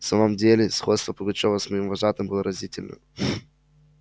в самом деле сходство пугачёва с моим вожатым было разительно